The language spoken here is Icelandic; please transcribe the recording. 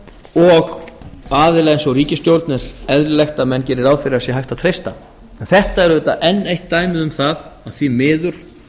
og aðila eins og ríkisstjórn er eðlilegt að menn geri ráð fyrir að sé hægt að treysta þetta er auðvitað enn eitt dæmi um það að því miður